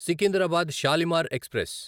Secunderabad Shalimar express